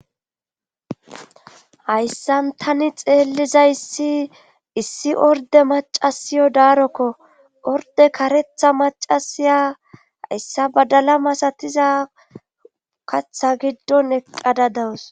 hayssan tani xeelliza issi issi orde macasiyo daarokko orde karetha macasiya hayssa badala masatiza katha giddon eqqada dawus